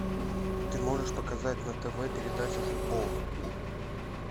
ты можешь показать на тв передачу футбол